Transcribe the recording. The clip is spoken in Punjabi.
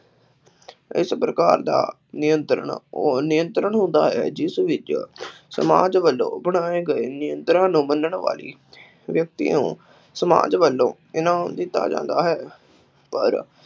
ਇਸ ਪ੍ਰਕਾਰ ਦਾ ਨਿਯੰਤਰਣ, ਉਹ ਨਿਯੰਤਰਣ ਹੁੰਦਾ ਹੈ, ਜਿਸ ਵਿੱਚ ਸਮਾਜ ਵੱਲੋਂ ਬਣਾਏ ਗਏ ਨਿਯੰਤਰਣਾਂ ਨੂੰ ਮੰਨਣ ਵਾਲੀ ਵਿਅਕਤੀ ਨੂੰ ਸਮਾਜ ਵੱਲੋਂ ਇਹਨਾ ਨੂੰ ਦਿੱਤਾ ਜਾਂਦਾ ਹੈ, ਪਰ